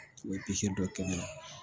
U ye dɔ kɛ n bolo